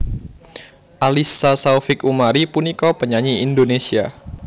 Alyssa Saufik Umari punika penyanyi Indonesia